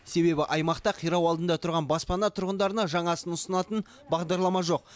себебі аймақта қирау алдында тұрған баспана тұрғындарына жаңасын ұсынатын бағдарлама жоқ